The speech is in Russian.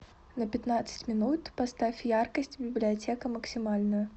на пятнадцать минут поставь яркость библиотека максимальную